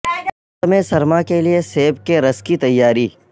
موسم سرما کے لئے سیب کے رس کی تیاری